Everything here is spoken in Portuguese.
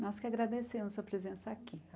Nós que agradecemos a sua presença aqui.